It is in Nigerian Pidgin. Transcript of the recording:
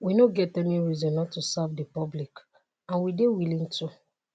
"we no get any reason not to serve di public and we dey willing to.